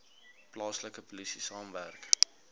plaaslike polisie saamwerk